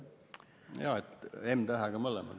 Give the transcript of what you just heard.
Jaa, m-tähega mõlemad.